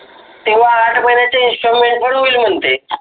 तेव्हा आठ महिन्याचं installment पण होईल म्हणते